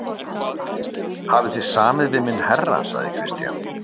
Hafið þið samið við minn herra, sagði Christian.